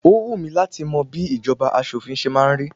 Ó wù mí láti mọ bí ìjọba aṣòfin ṣe máa ń rí.